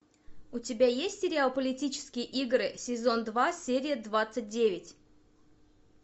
у тебя есть сериал политические игры сезон два серия двадцать девять